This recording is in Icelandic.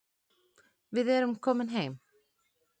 Við erum komin heim